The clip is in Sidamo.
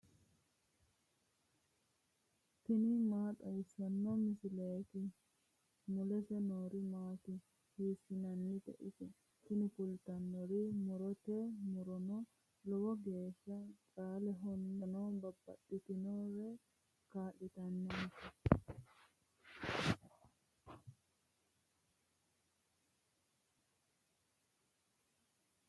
tini maa xawissanno misileeti ? mulese noori maati ? hiissinannite ise ? tini kultannori murote. murono lowo geeshsha caalehonna hattono babbaxxinorira kaa'litannonke.